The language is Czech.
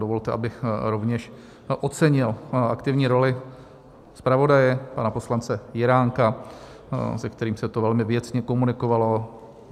Dovolte, abych rovněž ocenil aktivní roli zpravodaje, pana poslance Jiránka, se kterým se to velmi věcně komunikovalo.